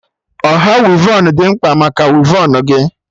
Ọha wivon dị mkpa maka wivon gị